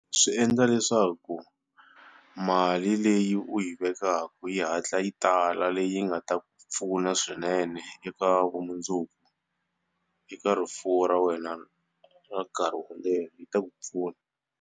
Swi endla leswaku mali leyi u yi vekaka yi hatla yi tala leyi nga ta ku pfuna swinene eka vumundzuku eka rifuwo ra wena ra nkarhi wo leha yi ta ku pfuna.